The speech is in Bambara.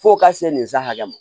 Fo ka se nin sa hakɛ ma